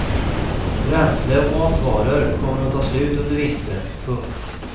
Bränsle och matvaror kommer att ta slut under vintern. punkt